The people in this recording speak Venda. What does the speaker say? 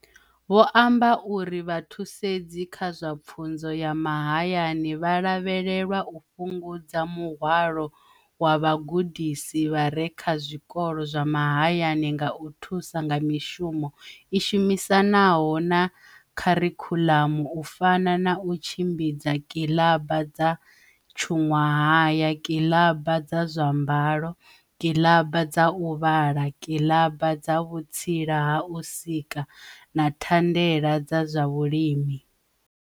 Vho amba uri Vhathusedzi kha zwa Pfunzo ya Mahayani vha lavhelelwa u fhungudza muhwalo wa vhagudisi vha re kha zwikolo zwa mahayani nga u thusa nga mishumo i shumisanaho na kharikhuḽamu u fana na u tshimbidza kilaba dza tshuṅwahaya, kilaba dza zwa mbalo, kilaba dza u vhala, kilaba dza vhutsila ha u sika na thandela dza zwa vhulimi.